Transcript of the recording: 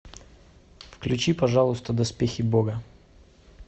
включи пожалуйста доспехи бога